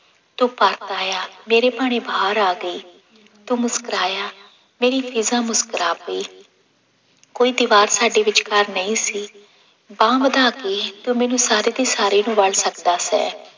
ਤੂੰ ਪਰਤ ਆਇਆ ਮੇਰੇ ਭਾਣੇ ਬਹਾਰ ਆ ਗਈ, ਤੂੰ ਮੁਸਕਰਾਇਆ ਮੇਰੀ ਫ਼ਿਜ਼ਾ ਮੁਸਕਰਾ ਪਈ ਕੋਈ ਦੀਵਾਰ ਸਾਡੇ ਵਿਚਕਾਰ ਨਹੀਂ ਸੀ ਬਾਂਹ ਵਧਾ ਕੇ ਤੂੰ ਮੈਨੂੰ ਸਾਰੀ ਦੀ ਸਾਰੀ ਨੂੰ ਵਲ ਸਕਦਾ ਸੈ।